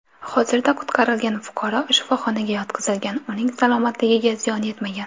Hozirda qutqarilgan fuqaro shifoxonaga yotqizilgan, uning salomatligiga ziyon yetmagan.